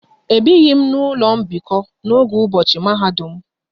Ebighi m n'ụlọ mbikọ n'oge ụbọchị mahadum m